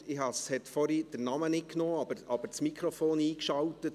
Der Name wurde vorhin nicht übernommen, aber das Mikrofon eingeschaltet.